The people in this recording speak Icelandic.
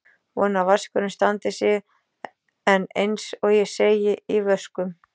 Vona að vaskurinn standi sig en eins og ég segi: í vöskum.